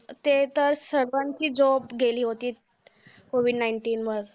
ते तर सर्वांची job गेली होती. COVID nineteen मुळे